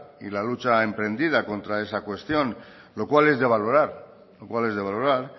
y la lucha emprendida contra esa cuestión lo cual es de valorar lo cual es de valorar